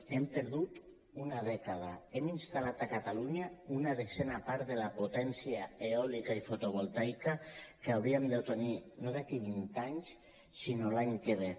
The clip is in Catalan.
hem perdut una dècada hem instal·lat a catalunya una desena part de la potència eòlica i fotovoltaica que hauríem de tenir no d’aquí vint anys sinó l’any que ve